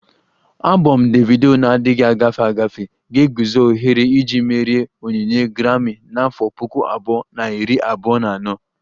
Abom Davido na-adịghị agafe agafe ga-eguzo ohere iji merie onyinye Grami na afo Puku abụọ na iri abụọ na anọ